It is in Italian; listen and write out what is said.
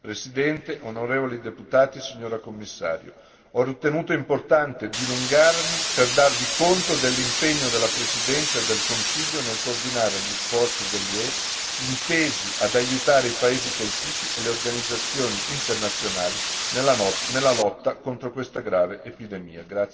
Presidente, onorevoli deputati, signora Commissario, ho ritenuto importante dilungarmi per darvi conto dell'impegno della Presidenza e del Consiglio nel coordinare gli sforzi dell'UE intesi ad aiutare i paesi colpiti e le organizzazioni internazionali nella lotta contro questa grave epidemia.